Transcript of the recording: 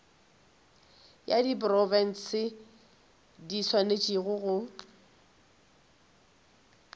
ya diprofense di swanetše go